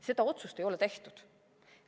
Seda otsust ei ole tehtud.